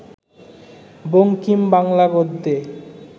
Bankim Bangla গদ্যে